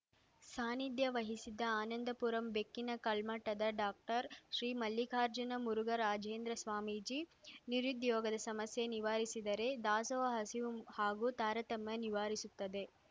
ಸಾನ್ನಿಧ್ಯ ವಹಿಸಿದ್ದ ಆನಂದಪುರಂ ಬೆಕ್ಕಿನ ಕಲ್ಮಠದ ಡಾಕ್ಟರ್ ಶ್ರೀ ಮಲ್ಲಿಕಾರ್ಜುನ ಮುರುಘರಾಜೇಂದ್ರ ಸ್ವಾಮೀಜಿ ನಿರುದ್ಯೋಗದ ಸಮಸ್ಯೆ ನಿವಾರಿಸಿದರೆ ದಾಸೋಹ ಹಸಿವು ಹಾಗೂ ತಾರತಮ್ಯ ನಿವಾರಿಸುತ್ತದೆ